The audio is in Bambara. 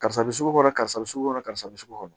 Karisa bɛ sugu kɔnɔ karisa bɛ sugu kɔnɔ karisa bɛ sugu kɔnɔ